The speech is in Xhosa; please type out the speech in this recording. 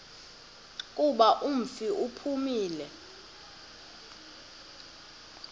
kuba umfi uphumile